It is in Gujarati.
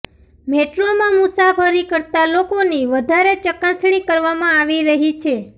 મેટ્રોમાં મુસાફરી કરતા લોકોની વધારે ચકાસણી કરવામાં આવી રહી છે